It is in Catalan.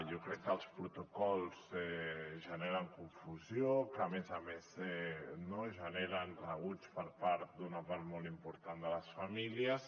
jo crec que els protocols generen confusió que a més a més no generen rebuig per part d’una part molt important de les famílies